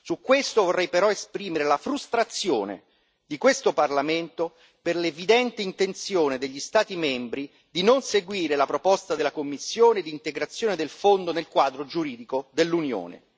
Su questo vorrei però esprimere la frustrazione di questo Parlamento per l'evidente intenzione degli Stati membri di non seguire la proposta della Commissione d'integrazione del fondo nel quadro giuridico dell'Unione.